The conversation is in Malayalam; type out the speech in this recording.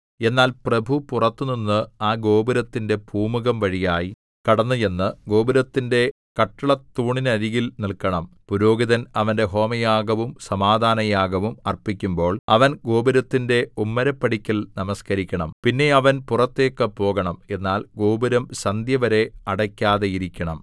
എന്നാൽ പ്രഭു പുറത്തുനിന്ന് ആ ഗോപുരത്തിന്റെ പൂമുഖംവഴിയായി കടന്നുചെന്ന് ഗോപുരത്തിന്റെ കട്ടിളത്തൂണിനരികിൽ നില്‍ക്കണം പുരോഹിതൻ അവന്റെ ഹോമയാഗവും സമാധാനയാഗവും അർപ്പിക്കുമ്പോൾ അവൻ ഗോപുരത്തിന്റെ ഉമ്മരപ്പടിക്കൽ നമസ്കരിക്കണം പിന്നെ അവൻ പുറത്തേക്ക് പോകണം എന്നാൽ ഗോപുരം സന്ധ്യവരെ അടയ്ക്കാതെയിരിക്കണം